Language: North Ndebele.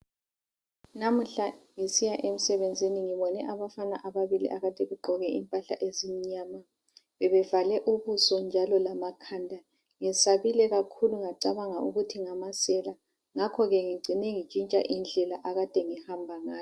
Lamuhla ngisiya emsebenzini ngibone abafana ababili begqoke impahla ezimnyama bebevale ubuso njalo lamakhanda ngesabile kakhulu ngacabanga ukuthi ngamasela ngakho ngicine ngitshintshe indlela ebengihamba ngayo.